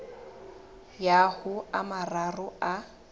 ya ho a mararo a